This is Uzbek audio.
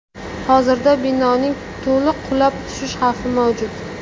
Hozirda binoning to‘liq qulab tushish xavfi mavjud.